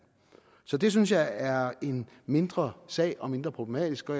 så det synes jeg er en mindre sag og mindre problematisk og